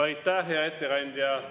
Aitäh, hea ettekandja!